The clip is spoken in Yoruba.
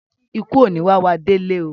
Ìkú ò ní wá wá délé oo.